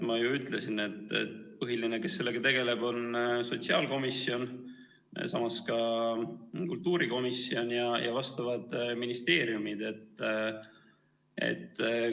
Ma ju ütlesin, et põhiline, kes sellega tegeleb, on sotsiaalkomisjon, samas ka kultuurikomisjon ja vastavad ministeeriumid.